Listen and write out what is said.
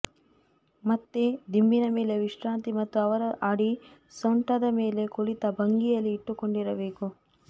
ಮತ್ತೆ ದಿಂಬಿನ ಮೇಲೆ ವಿಶ್ರಾಂತಿ ಮತ್ತು ಅವರ ಅಡಿ ಸೊಂಟದ ಮೇಲೆ ಕುಳಿತ ಭಂಗಿಯಲ್ಲಿ ಇಟ್ಟುಕೊಂಡಿರಬೇಕು